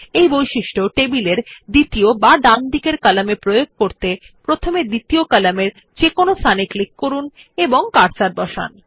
এই বৈশিষ্ট্য টেবিল এর দ্বিতীয় বা ডান দিকের কলাম এ প্রয়োগ করতে প্রথমে দ্বিতীয় কলামের যেকোনো স্থানে ক্লিক করুন এবং কার্সার বসান